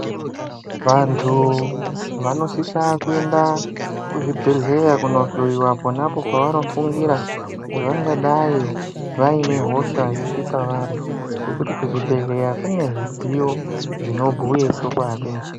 Vantu vanosisa kuenda kuzvibhedhera kunohloyiwa pona pavanofungira kuti vangadai vane hosha dziripavari ngekuti kuchibhedhlera kune midziyo dzinobhuya chokwadi.